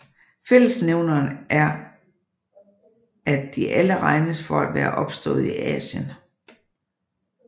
Fællesnævneren er at de alle regnes for at være opstået i Asien